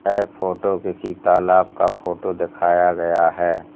यह फोटो किसी तालाब का फोटो दिखाया गया है।